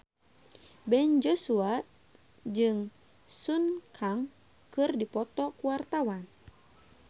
Ben Joshua jeung Sun Kang keur dipoto ku wartawan